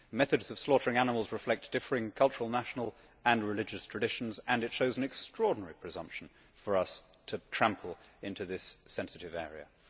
Methods of slaughtering animals reflect differing cultural, national and religious traditions, and it shows an extraordinary presumption for us to trample into this sensitive area.